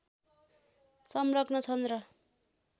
संलग्न छन् र